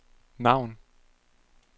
navn